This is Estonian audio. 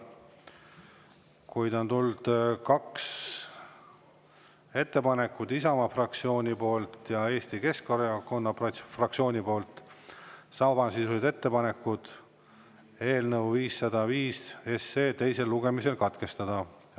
Kuid on tulnud kaks ettepanekut, Isamaa fraktsioonilt ja Eesti Keskerakonna fraktsioonilt, need on samasisulised ettepanekud: eelnõu 505 teisel lugemisel katkestada.